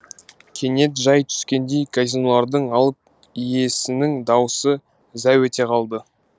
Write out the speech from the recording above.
кенет жай түскендей казинолардың алып иесінің даусы зәу ете қалды